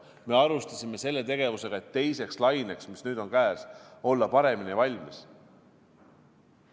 Me alustasime tegevustega, et teiseks laineks, mis nüüd on käes, olla paremini valmis.